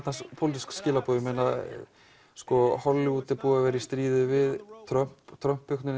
pólitísk skilaboð þarna Hollywood er búið að vera í stríði við Trump Trump